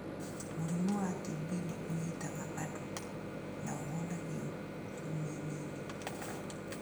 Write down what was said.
Mũrimũ wa TB nĩ ũnyitaga andũ, na ũhonagio ciumia nini.